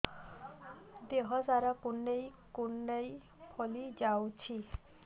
ଦେହ ସାରା କୁଣ୍ଡାଇ କୁଣ୍ଡାଇ ଫଳି ଯାଉଛି